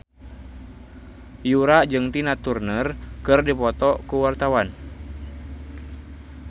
Yura jeung Tina Turner keur dipoto ku wartawan